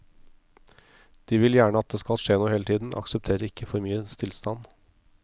De vil gjerne at det skal skje noe hele tiden, aksepterer ikke for mye stillstand.